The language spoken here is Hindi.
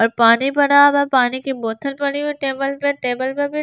और पानी पड़ा हुआ है पानी की बोतल पड़ी हुई है टेबल पे टेबल पे भी --